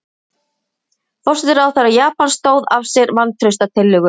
Forsætisráðherra Japans stóð af sér vantrauststillögu